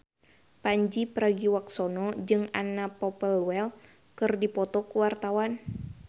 Pandji Pragiwaksono jeung Anna Popplewell keur dipoto ku wartawan